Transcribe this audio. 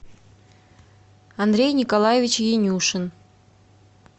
андрей николаевич янюшин